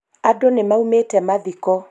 andũ nĩmaumĩte mathiko